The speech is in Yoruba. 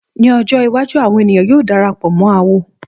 Ní ọjọ́ iwájú, ọ̀pọ̀ ènìyàn yóò darapọ̀ mọ́ awo.